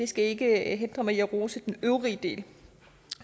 skal ikke hindre mig i at rose den øvrige del